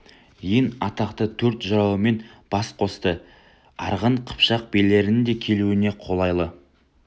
ең атақты төрт жырауымен бас қосты арғын қыпшақ билерінің де келуіне қолайлы